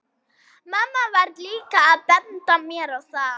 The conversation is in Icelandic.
Mamma var líka að benda mér á það.